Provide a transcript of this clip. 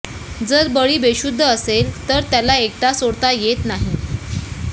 जर बळी बेशुद्ध असेल तर त्याला एकटा सोडता येत नाही